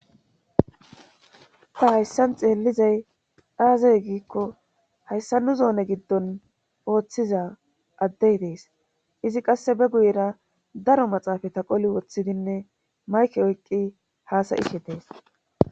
ta hayssan xeellizay aazay giikko hayssa nu zoone giddon ooththiza addey dees izi qasse be guyera daro maxaafa taqoli woththidinne mayke oyqqi haasayihe dees